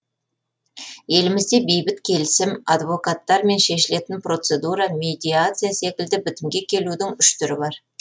елімізде бейбіт келісім адвокаттармен шешілетін процедура медиация секілді бітімге келудің үш түрі бар